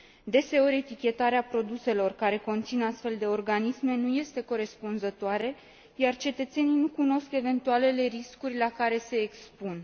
Deseori, etichetarea produselor care conțin astfel de organisme nu este corespunzătoare, iar cetățenii nu cunosc eventualele riscuri la care se expun.